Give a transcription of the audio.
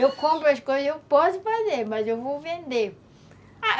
Eu compro as coisas, eu posso fazer, mas eu vou vender.